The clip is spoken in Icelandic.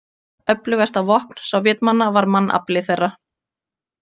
Öflugasta vopn Sovétmanna var mannafli þeirra.